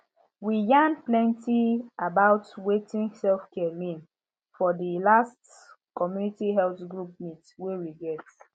we yarn plenty about wetin selfcare mean for di last community health group meet wey we get